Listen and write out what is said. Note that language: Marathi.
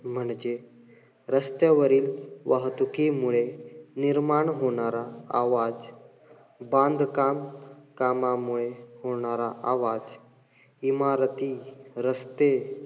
म्हणजे रस्त्यावरील वाहतुकीमुळे निर्माण होणारा आवाज, बांधकाम कामामुळे होणार आवाज, इमारती, रस्ते,